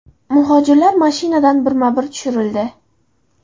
Muhojirlar mashinadan birma-bir tushirildi.